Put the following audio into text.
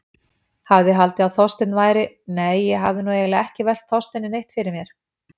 Hafði haldið að Þorsteinn væri- nei, ég hafði eiginlega ekki velt Þorsteini neitt fyrir mér.